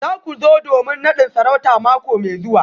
Za ku zo domin nadin sarauta mako mai zuwa?